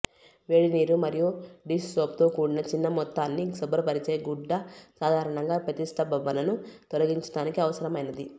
వేడినీరు మరియు డిష్ సోప్తో కూడిన చిన్న మొత్తాన్ని శుభ్రపరిచే గుడ్డ సాధారణంగా ప్రతిష్టంభనను తొలగించడానికి అవసరమైనది